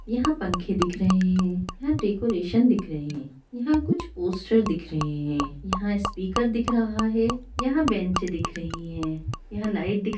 यहाँ पंखे दिख रहे हैं| यहाँ डेकोरेशन दिख रहे हैं| यहाँ कुछ पोस्टर दिख रहे हैं| यहाँ स्पीकर दिख रहा है| यहाँ बेंच दिख रही है यहाँ लाइट दिख --